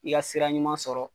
F'i ka sira ɲuman sɔrɔ,